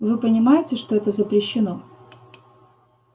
вы понимаете что это запрещено